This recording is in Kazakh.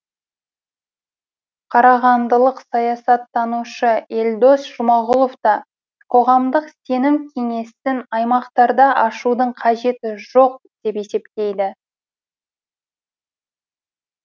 қарағандылық саясаттанушы елдос жұмағұлов та қоғамдық сенім кеңесін аймақтарда ашудың қажеті жоқ деп есептейді